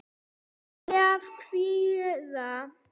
Saga af kvíða.